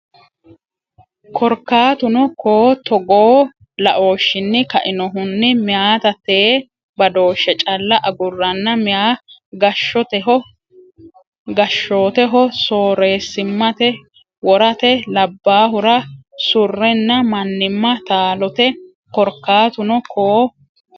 Korkatuno koo Togoo laooshshinni kainohunni meyata tee badooshshe calla agurranna meya gashshoteho soorreessimmate worate labbaahura surrenna mannimma taalote Korkatuno koo.